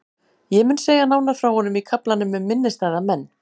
Ég mun segja nánar frá honum í kaflanum um minnisstæða menn.